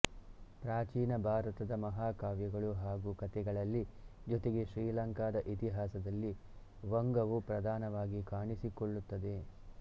ಪ್ರಾಚೀನ ಭಾರತದ ಮಹಾಕಾವ್ಯಗಳು ಹಾಗೂ ಕಥೆಗಳಲ್ಲಿ ಜೊತೆಗೆ ಶ್ರೀಲಂಕಾದ ಇತಿಹಾಸದಲ್ಲಿ ವಂಗವು ಪ್ರಧಾನವಾಗಿ ಕಾಣಿಸಿಕೊಳ್ಳುತ್ತದೆ